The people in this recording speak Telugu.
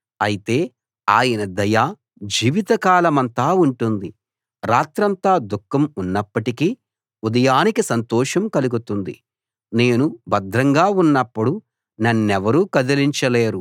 ఆయన కోపం ఒక్క నిమిషమే ఉంటుంది అయితే ఆయన దయ జీవిత కాలమంతా ఉంటుంది రాత్రంతా దుఃఖం ఉన్నప్పటికీ ఉదయానికి సంతోషం కలుగుతుంది